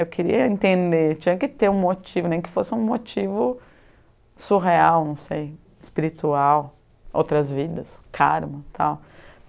Eu queria entender, tinha que ter um motivo, nem que fosse um motivo surreal, não sei, espiritual, outras vidas, karma, tal.